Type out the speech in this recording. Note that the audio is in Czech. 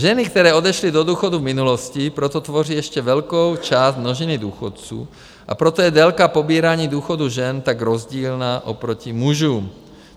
Ženy, které odešly do důchodu v minulosti, proto tvoří ještě velkou část množiny důchodců, a proto je délka pobírání důchodu žen tak rozdílná oproti mužům.